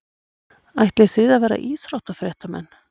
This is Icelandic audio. Ætlið þið að vera íþróttafréttamenn?